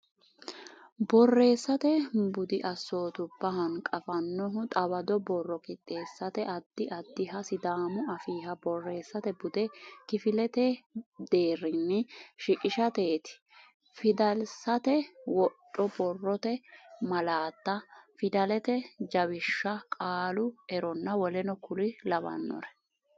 Borreessate budi assootubba hanqaffannohu xawado borro qixxeessate addi addiha Sidaamu Afiiha borreessate bude kifilete deerrinni shiqishateeti Fidalsate wodho Borrote malaatta Fidalete jawishsha Qaalu eronna w k l.